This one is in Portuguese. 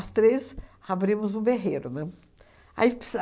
três abrimos um berreiro, né? Aí ps